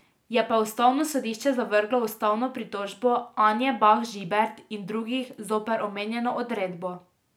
Je pa ustavno sodišče zavrglo ustavno pritožbo Anje Bah Žibert in drugih zoper omenjeno odredbo.